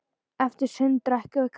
Eftir sund drekkum við kaffi.